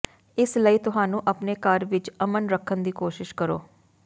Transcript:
ਇਸ ਲਈ ਤੁਹਾਨੂੰ ਆਪਣੇ ਘਰ ਵਿਚ ਅਮਨ ਰੱਖਣ ਦੀ ਕੋਸ਼ਿਸ਼ ਕਰੋ